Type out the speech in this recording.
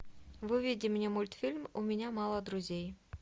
выведи мне мультфильм у меня мало друзей